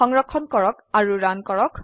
সংৰক্ষণ কৰক আৰু ৰান কৰক